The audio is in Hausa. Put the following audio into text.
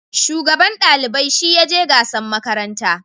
Shugaban dalibai shi ya je gasan makaranta